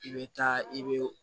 I bɛ taa i bɛ